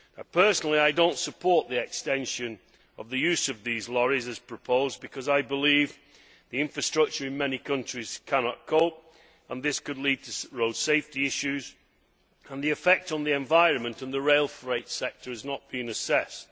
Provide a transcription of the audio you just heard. Personally, I do not support the extension of the use of these lorries as proposed because I believe the infrastructure in many countries cannot cope and this could lead to road safety issues, and the effect on the environment and the rail freight sector has not been assessed.